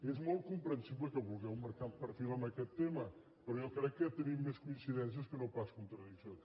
és molt com·prensible que vulgueu marcar perfil en aquest tema però jo crec que tenim més coincidències que no pas contradiccions